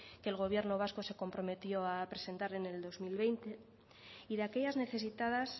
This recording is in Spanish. que el gobierno vasco se comprometió a presentar en el dos mil veinte y de aquellas necesitadas